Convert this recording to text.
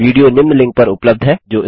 video निम्न link पर उपलब्ध है